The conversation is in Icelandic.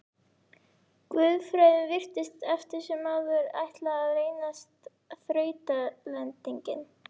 Guðfræðin virtist eftir sem áður ætla að reynast þrautalendingin.